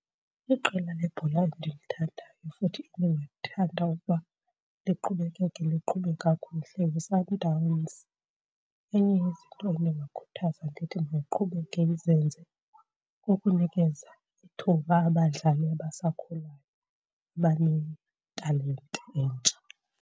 Iqela lebhola endilithandayo futhi endingathanda ukuba liqhubekeke liqhube kakuhle yiSundowns. Enye yezinto endingakhuthaza ndithi mayiqhubeke izenze kukunikeza ithuba abadlali abasakhulayo abanetalente entsha.